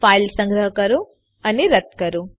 file સંગ્રહ કરો અને રન કરો